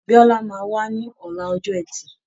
Bíọ́lá máa wá ní ọ̀la ọjọ ẹtì